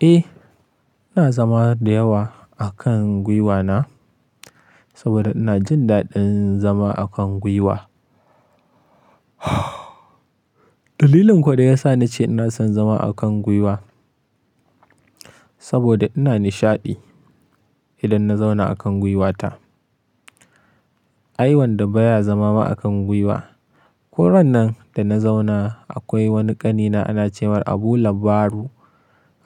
Eh, ina zama da yawa a kan gwiwana, saboda ina jin daɗin zama a kan gwiwa. Dalilin kuwa da yasa nace ina son zama a kan gwiwa, saboda ina nishaɗi idan na zauna a kan gwiwata. Ai wanda baya zama ma a kan gwiwa. Ko ran nan da na zauna akwai wani ƙanina ana ce mai Abulabbaru.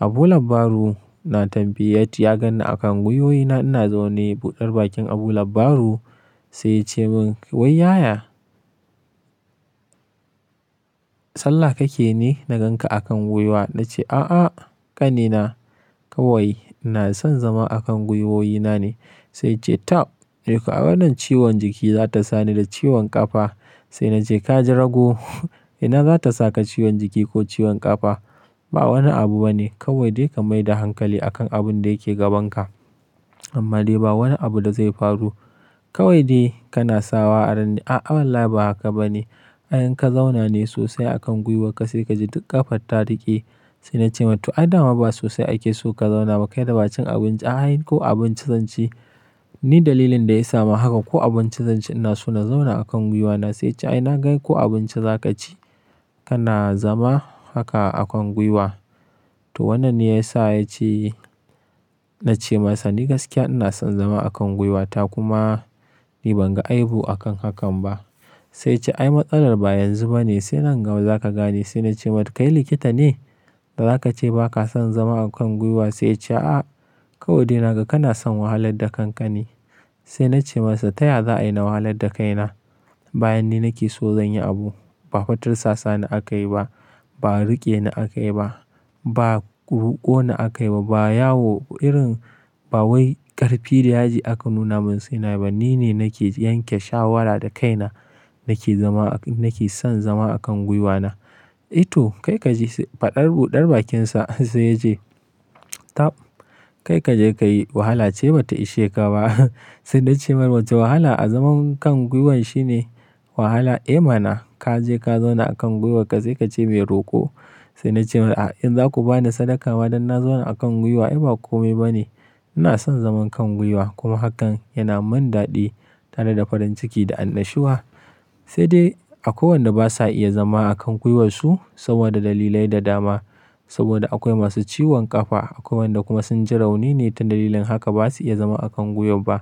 Abulabbaru na tambayi ya ganni a kan gwiwoyi na ina zaune. Buɗar bakin Abulabbaru, sai ya ce mun "Wai yaya? Sallah kake ne na gan ka a kan gwiwa." Na ce, "A'a ƙanina kawai ina son zama a kan gwiwoyi na ne." Sai ya ce, "Tab eh ko a wannan ciwon jiki za ta sa ni da ciwon ƙafa." Sai na ce, "Ka ji rago, ina za ta saka ciwon jiki ko ciwon ƙafa? Ba wani abu bane kawai dai ka maida hankali a kan abun da yake gabanka amma dai ba wani abu da zai faru. Kawai dai kana sawa rai ne, "A'a wallahi ba haka bane. In ka zauna ne sosai a kan gwiwarka sai ka ji duk ƙafar ta riƙe." Sai na ce masa, "To adama ba sosai ake so ka zauna ba kai da bacin abinci." "A'a ko abinci zan ci, ni dalilin da ya sa ma haka ko abinci zan ci ina so na zauna a kan gwiwa na." Sai ya ce, "Ai na gan ko abinci za ka ci kana zama haka a kan gwiwa." To wannan ne ya sa ya ce na ce masa, "Ni gaskiya ina son zama a kan gwiwata, kuma ni ban ga aihu a kan hakan ba." Sai ya ce, "Ai matsalar ba yanzu bane sai nan gaba za ka gane." Sai na ce masa, "Kai likita ne, da za ka ce ba ka son zama a kan gwiwa?" Sai ya ce, "A'a kawai dai naga kana son wahalar da kanka ne". Sai na ce masa, "Taya za a yi na wahalar da kaina bayan ni nake so zan yi abu. Ba fa tirsasa ni aka yi ba, ba riƙe na aka yi ba, ba ruko ni aka yi ba, ba yawo irin ba wai ƙarfi da yaji aka nuna mun sai na yi ba. Ni ne nake yanke shawarar da kaina nake zama, nake son zama a kan gwiwana." "Eh to kai ka ji faɗar buɗar bakinsa." Sai ya ce, "Tab kai ka je ka yi wahala ce bata ishe ka ba." Sai na ce masa, "To wahala a zaman kan gwiwan shine wahala?" "Eh mana ka je ka zauna a kan gwiwarka sai ka ce mai roƙo." Sai na ce masa, "In za ku ba ni sadaka ma don na zauna a kan gwiwa ai ba komai bane. Ina son zaman kan gwiwa kuma hakan yana mun daɗi tare da farin ciki da annashuwa." Sai dai akwai wanda basa iya zama a kan gwiwansu saboda dalilai da dama. Saboda akwai masu ciwon ƙafa, akwai wayanda kuma sun ji rauni ne ta dalilin haka basu iya zama a kan gwiwan ba.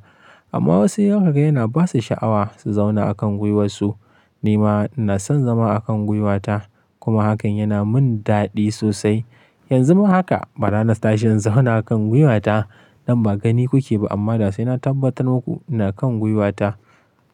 Amma wasu yan muga yana ba su sha'awa su zauna a kan gwiwansu. Ni ma ina son zama a kan gwiwata kuma hakan yana mun daɗi sosai. Yanzu ma haka barana tashi in zauna a kan gwiwata. Nan ba gani kuke ba amma dai sai na tabbatar muku ina kan gwiwata.